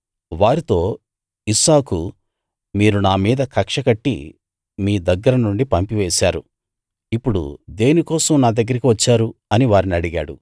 వారితో ఇస్సాకు మీరు నామీద కక్ష కట్టి మీ దగ్గరనుండి పంపివేశారు ఇప్పుడు దేనికోసం నా దగ్గరికి వచ్చారు అని వారిని అడిగాడు